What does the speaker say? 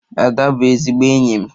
Ada bụ ezigbo enyi m.